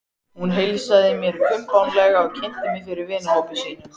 Hún heilsaði mér kumpánlega og kynnti mig fyrir vinahópi sínum.